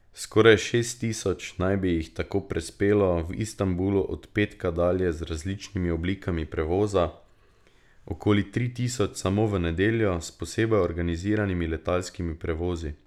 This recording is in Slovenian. Skoraj šest tisoč naj bi jih tako prispelo v Istanbulu od petka dalje z različnimi oblikami prevoza, okoli tri tisoč samo v nedeljo s posebej organiziranimi letalskimi prevozi.